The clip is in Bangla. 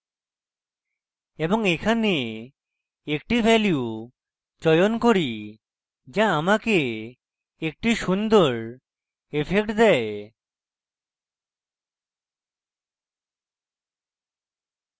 এবং এখানে একটি value চয়ন করি যা আমাকে একটি সুন্দর ইফেক্ট দেয়